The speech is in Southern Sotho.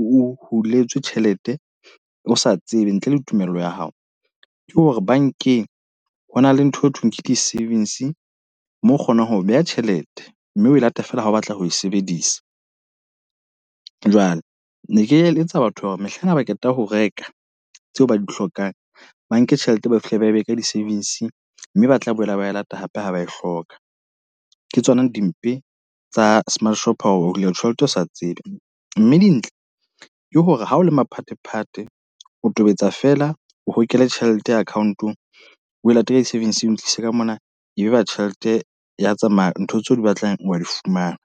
uhu o huletswe tjhelete, o sa tsebe ntle le tumello ya hao. Ke hore bankeng ho na le ntho eo thweng ke di-savings mo kgonang ho beha tjhelete, mme o lata fela ha o batla ho e sebedisa. Jwale ne ke eletsa batho ba hore mehlaena ba qeta ho reka tseo ba di hlokang, ba nke tjhelete, ba fihle ba e be ka di-savings mme ba tla boela ba lata hape ha ba e hloka. Ke tsona dimpe tsa smart shop ho hula tjhelete o sa tsebe. Mme dintle ke hore ha o le maphatephate, o tobetsa feela o hokele tjhelete ya account-ong we late ka di-savings o e tlise ka mona. E be ba tjhelete ya tsamaya, ntho tseo di batlang wa di fumana.